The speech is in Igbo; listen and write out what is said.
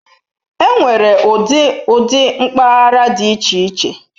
Enwere ụdị ụdị mpaghara dị iche iche.